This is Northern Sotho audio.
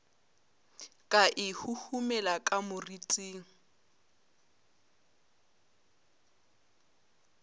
ka e huhumela ka moriting